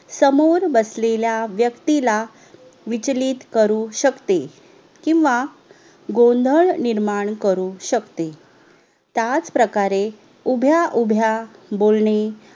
समोर बसलेल्या वेक्तीला विचलित करू शकते किव्हा गोंधड निर्माण करू शकते त्याचप्रकारे उभ्या उभ्या बोलणे